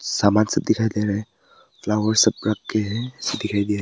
सामान सब दिखाई दे रहे है फ्लावर सब रखें है दिखाई दे--